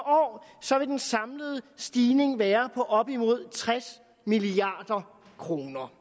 år så vil den samlede stigning være på op imod tres milliard kroner